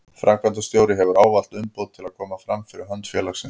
Framkvæmdastjóri hefur ávallt umboð til að koma fram fyrir hönd félagsins.